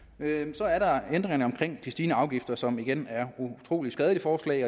så er der ændringerne omkring de stigende afgifter som igen er utrolig skadeligt forslag